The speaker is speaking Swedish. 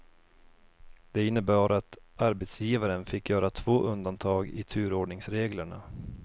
Det innebar att arbetsgivaren fick göra två undantag i turordningsreglerna.